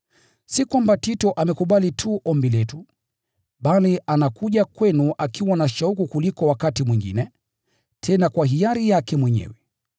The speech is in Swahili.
Si kwamba Tito amekubali tu ombi letu, bali anakuja kwenu akiwa na shauku kuliko wakati mwingine, tena kwa hiari yake mwenyewe.